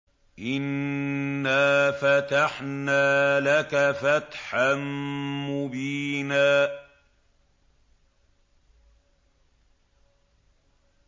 إِنَّا فَتَحْنَا لَكَ فَتْحًا مُّبِينًا